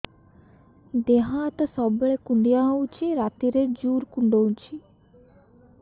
ଦେହ ହାତ ସବୁବେଳେ କୁଣ୍ଡିଆ ହଉଚି ରାତିରେ ଜୁର୍ କୁଣ୍ଡଉଚି